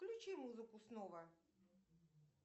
включи музыку снова